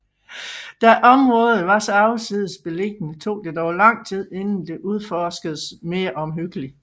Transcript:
Da området var så afsides beliggende tog det dog lang tid inden det udforskedes mere omhyggeligt